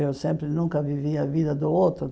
Eu sempre nunca vivi a vida do outro.